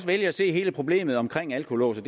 vælge at se hele problemet omkring alkolåse